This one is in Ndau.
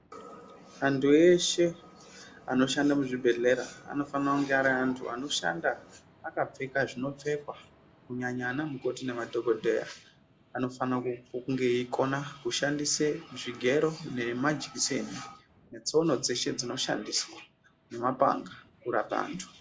Antu eshe anoshanda muzvibhedhlera anofanira kunge ari antu anoshanda akapfeka zvinopfekwa. Kunyanya anamukoti nemadhokodheya anofanira kunge eikona kushandise zvigero nemajikiseni, netsono dzeshe dzinoshandiswa nemapanga kurapa antu.